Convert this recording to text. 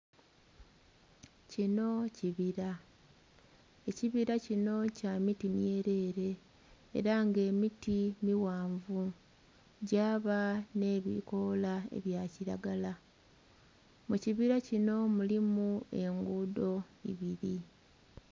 Kino kibira, ekibira kino kya miti myelele, ela nga emiti mighanvu, gyaba nh'ebikoola ebya kilagala. Mu kibira kino mulimu enguudho ibili.